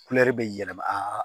bɛ yɛlɛma